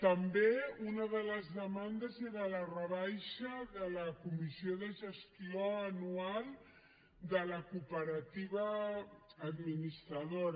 també una de les demandes era la rebaixa de la comissió de gestió anual de la cooperativa administradora